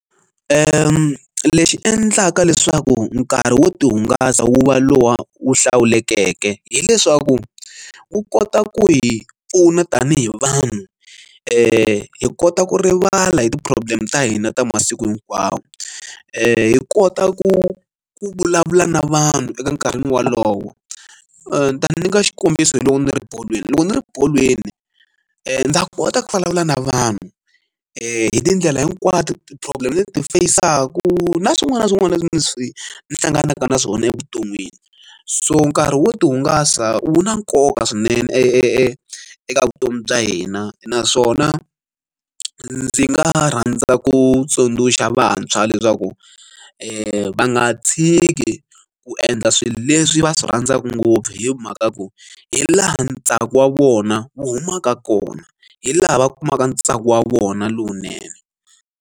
Lexi endlaka leswaku nkarhi wo tihungasa wu va lowu hlawulekeke hileswaku wu kota ku hi pfuna tanihi vanhu hi kota ku rivala hi ti problem ta hina ta masiku hinkwawo hi kota ku ku vulavula na vanhu eka nkarhi wolowo ni ta nyika xikombiso hi loko ni ri bolweni loko ni ri bolweni ni ta kota ku vulavula na vanhu hi tindlela hinkwato ti problem leti ni ti fayisaku na swin'wana na swin'wana leswi ni swi ni hlanganaka na swona evuton'wini so nkarhi wo tihungasa wu na nkoka swinene eka vutomi bya hina naswona ndzi nga rhandza ku tsundzuxa vantshwa leswaku e va nga tshiki ku endla swilo leswi va swi rhandzaka ngopfu hi mhaka ya ku hi laha ntsako wa vona wu humaka kona hi laha va kumaka ntsako wa vona lowunene.